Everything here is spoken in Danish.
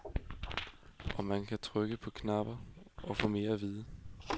Og man kan trykke på knapper og få mere at vide.